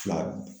Fila